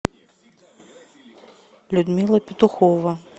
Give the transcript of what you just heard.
людмила петухова